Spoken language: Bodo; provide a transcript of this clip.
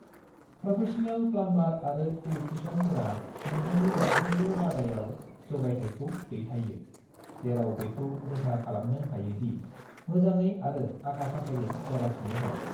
प्रोफेसनेल प्लामबार आरो इलेक्ट्रिसियानफोरा नोंथांनि मोनफ्रोमबो बादायाव जगायथाइखौ दैथायो जेराव बेखौ रोखा खालामनो हायो दि मोजाङै आरो आखा-फाखायै जागासिनो दं।